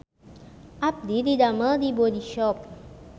Abdi didamel di Bodyshop